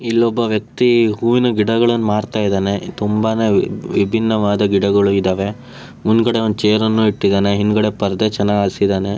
ಇಲ್ಲೊಬ್ಬ ವೆಕ್ತಿ ಹೂವಿನ ಗಿಡಗಳನ್ನು ಮಾರ್ಥಾ ಇದ್ದಾನೆ ತುಂಬಾನೇ ವಿಬ್ಬಿಣವಾದ ಗಿಡಗಳನ್ನು ಇಟ್ಟಿದಾನೆ ಮುಂದ್ಗಡೆ ಒಂದು ಚೇರ್ ಅನ್ನು ಇಟ್ಟಿದಾನೆ ಹಿಂದಗಡೆ ಪರದೆ ಚೆನ್ನಾಗ್ ಹಸಿದನೇ.